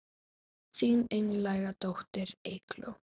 Þín einlæga dóttir Eygló.